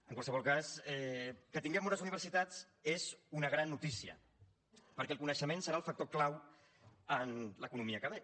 en qualsevol cas que tinguem bones universitats és una gran notícia perquè el coneixement serà el factor clau en l’economia que ve